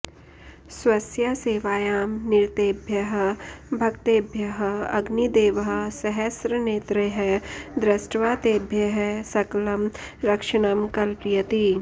स्वस्य सेवायां निरतेभ्यः भक्तेभ्यः अग्निदेवः सहस्रनेत्रैः दृष्ट्वा तेभ्यः सकलं रक्षणं कल्पयति